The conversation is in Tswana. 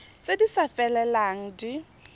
tse di sa felelang di